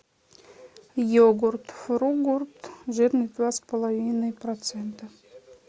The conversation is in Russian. йогурт фругурт жирность два с половиной процента